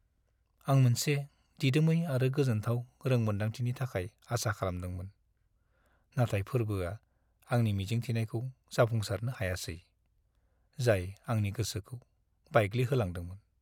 आं मोनसे दिदोमै आरो गोजोनथाव रोंमोनदांथिनि थाखाय आसा खालामदोंमोन, नाथाय फोरबोआ आंनि मिजिंथिनायखौ जाफुंसारनो हायासै, जाय आंनि गोसोखौ बायग्लिहोलांदोंमोन।